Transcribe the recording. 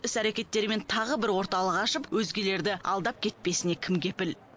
іс әрекеттерімен тағы бір орталық ашып өзгелерді алдап кетпесіне кім кепіл